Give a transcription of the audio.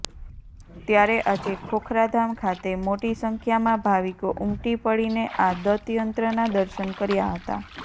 ત્યારે આજે ખોખરાધામ ખાતે મોટી સંખ્યામાં ભાવિકો ઉમટી પડીને આ દતયંત્રના દર્શન કર્યા હતા